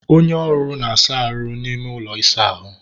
onye ọrụ ngo na-asa ahụ n'ime ụlọ ịsa ahụ